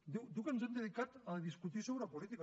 diu que ens hem dedicat a discutir sobre política